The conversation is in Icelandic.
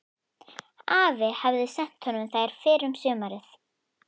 Afi hafði sent honum þær fyrr um sumarið.